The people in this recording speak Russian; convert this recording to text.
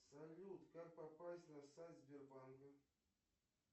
салют как попасть на сайт сбербанка